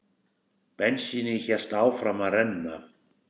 Bensínið hélt áfram að renna.